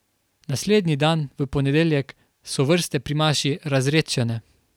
Naslednji dan, v ponedeljek, so vrste pri maši razredčene.